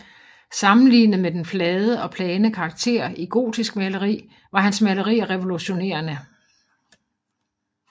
Sammenlignet med den flade og plane karakter i gotisk maleri var hans malerier revolutionerende